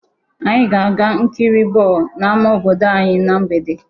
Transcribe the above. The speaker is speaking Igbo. Anyị ga-aga nkiri bọọlụ n'ámá obodo anyị na mgbede.